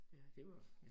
Ja det var